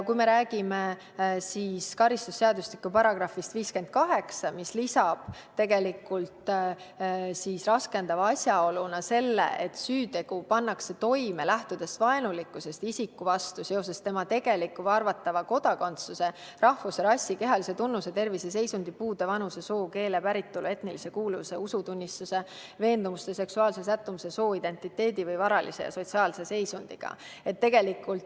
Kui me räägime karistusseadustiku §-st 58, siis lisab raskendavate asjaolude hulka selle, et süütegu pannakse toime vaenulikkusest isiku vastu seoses tema tegeliku või arvatava kodakondsuse, rahvuse, rassi, kehalise tunnuse, terviseseisundi, puude, vanuse, soo, keele, päritolu, etnilise kuuluvuse, usutunnistuse, veendumuste, seksuaalse sättumuse, sooidentiteedi või varalise või sotsiaalse seisundiga.